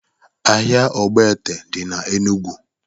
Ahia ọgbete dị na Enụgwụ